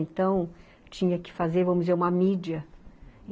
Então, tinha que fazer, vamos dizer, uma mídia.